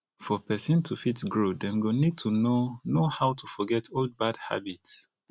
for person to fit grow dem go need to know know how to forget old bad habits